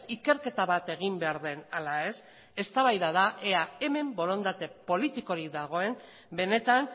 ikerketa bat egin behar den ala ez eztabaida da ea hemen borondate politikorik dagoen benetan